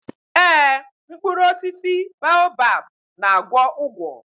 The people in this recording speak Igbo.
Ee, mkpụrụ osisi baobab na-agwọ ụgwọ.